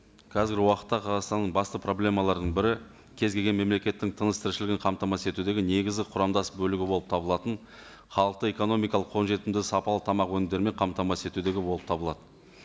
қазіргі уақытта қазақстанның басты проблемаларының бірі кез келген мемлекеттің тыныс тіршілігін қамтамасыз етудегі негізі құрамдас бөлігі болып табылатын халықты экономикалық қолжетімді сапалы тамақ өнімдерімен қамтамасыз етудегі болып табылады